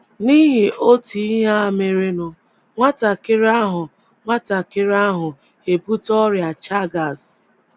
N’ihi otu ihe a merenụ, nwatakịrị ahụ, nwatakịrị ahụ ebute ọrịa Chagas.